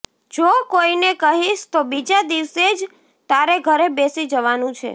જો કોઈને કહીશ તો બીજા દિવસે જ તારે ઘરે બેસી જવાનું છે